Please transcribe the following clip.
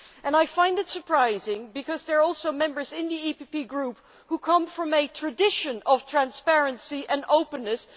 I find this surprising, because there are also Members in the EPP Group who come from a tradition of transparency and openness.